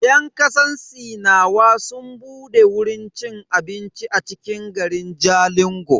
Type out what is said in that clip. Yan kasar sinawa sun bude wurin ci abincin a cikin garin Jalingo.